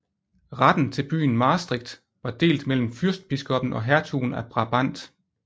Retten til byen Maastricht var delt mellem fyrstbiskoppen og hertugen af Brabant